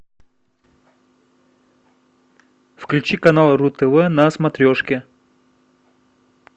включи канал ру тв на смотрешке